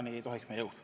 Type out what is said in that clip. Seda ei tohiks lubada.